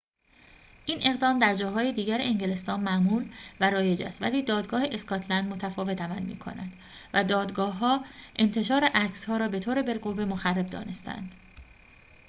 این اقدام در جاهای دیگر انگلستان معمول و رایج است ولی دادگاه اسکاتلند متفاوت عمل می‌کند و دادگاه‌ها انتشار عکس‌ها را بطور بالقوه مخرب دانسته‌اند